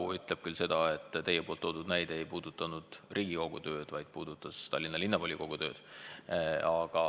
Kui mu mälu ei peta, siis teie toodud näide ei puudutanud Riigikogu tööd, vaid Tallinna Linnavolikogu tööd.